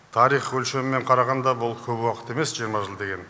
тарих өлшемімен қарағанда бұл көп уақыт емес жиырма жыл деген